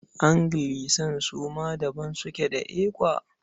Anglican su ma daban suke da ECWA.